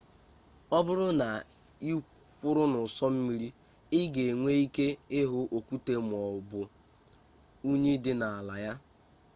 ọ bụrụ na ị kwụrụ n'ụsọ mmiri ị ga enwe ike ịhụ okwute maọbụ unyi dị n'ala ya